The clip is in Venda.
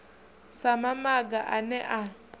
sa mamaga a ne a